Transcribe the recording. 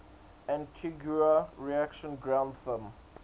antigua recreation ground thumb